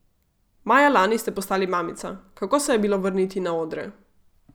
Maja lani ste postali mamica, kako se je bilo vrniti na odre?